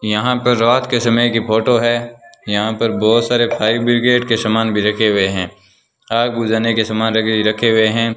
यहां पर रात के समय की फोटो है यहां पर बहोत सारे फायर ब्रिगेड के समान भी रखे हुए हैं आग बुझाने के सामान देखें रखे हुए हैं।